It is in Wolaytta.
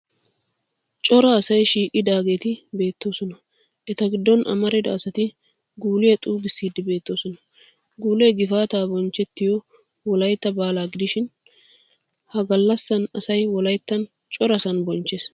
Cora asay shiiqidaageeti beettoosona eta giddon amarida asati guuliya xuuggiidsi beettoosona. Guulee gifaataa bonchettiya wolayitta baalaa gidishin ha gallasan asay wolayttan corasan bonchchees.